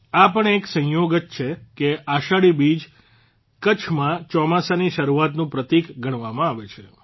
આ પણ એક સંયોગ જ છે કે અષાઢી બીજ કચ્છમાં ચોમાસાની શરૂઆતનું પ્રતિક ગણવામાં આવે છે